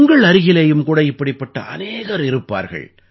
உங்கள் அருகிலேயும் கூட இப்படிப்பட்ட அநேகர் இருப்பார்கள்